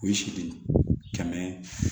O ye sidi kɛmɛ